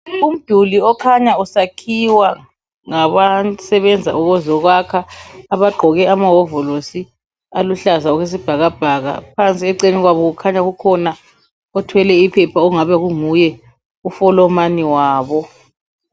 Umduli okhanya usakhiwa ngabasebenza ukuzokwakha abagqoke amahovolosi aluhlaza okwesibhakabhaka. Phansi eceleni kwabo kukhanya kukhona othwele iphepha, okungabe kunguye ufolomani wabo.